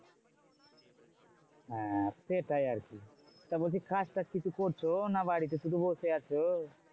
হ্যাঁ সেটাই আরকি, তা বলছি কাজ টাজ কিছু করছো? না কি বাড়িতে শুধু বসে আছো?